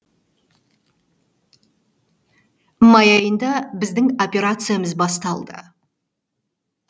май айында біздің операциямыз басталды